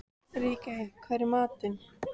Ríkey, hvað er í matinn?